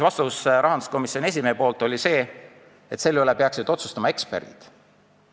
Rahanduskomisjoni esimehe vastus oli, et selle üle peaksid otsustama eksperdid.